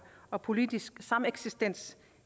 og politisk sameksistens